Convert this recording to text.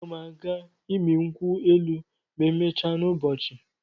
A ga m aga ịmị nkwụ elụ ma emechaa n'ụbọchị.